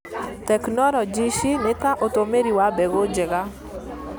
Tekinoronjĩ ici nĩ ta ũtũmĩri wa mbegũ njega,